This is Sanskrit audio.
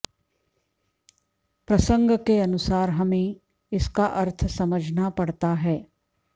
प्रसंग के अनुसार हमें इसका अर्थ समझना पड़ता है